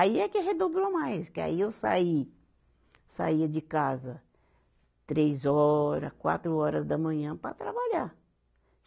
Aí é que redobrou mais, que aí eu saí, saía de casa três horas, quatro horas da manhã para trabalhar.